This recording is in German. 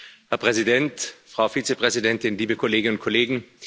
Herr Präsident, Frau Vizepräsidentin, liebe Kolleginnen und Kollegen!